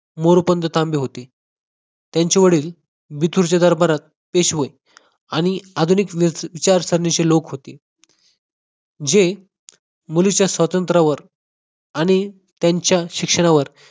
मोरोपंत तांबे होते त्यांचे वडील बितूरच्या दरबारात पेशवे आणि आधुनिक विचार श्रेणीचे लोक होते जे मुलीचा स्वातंत्र्यावर आणि त्यांच्या शिक्षणावर